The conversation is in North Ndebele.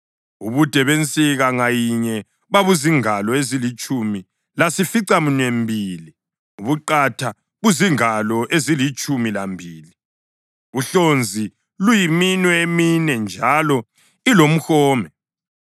Ubude bensika ngayinye babuzingalo ezilitshumi lasificaminwembili, ubuqatha buzingalo ezilitshumi lambili, uhlonzi luyiminwe emine njalo ilomhome.